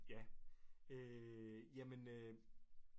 Ja øh jamen øh